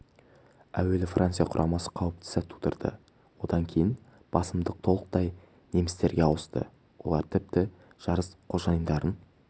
әуелі франция құрамасы қауіпті сәт тудырды одан кейін басымдық толықтай немістерге ауысты олар тіпті жарыс қожайындарын